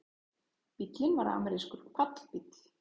Bíllinn var amerískur pallbíll